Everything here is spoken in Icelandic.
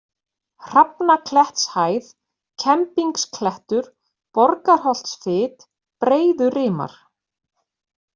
Hrafnaklettshæð, Kembingsklettur, Borgarholtsfit, Breiðurimar